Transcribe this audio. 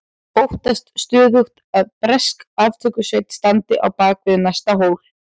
Óttast stöðugt að bresk aftökusveit standi á bak við næsta hól.